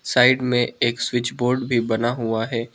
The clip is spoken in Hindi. साइड में एक स्विच बोर्ड भी बना हुआ है।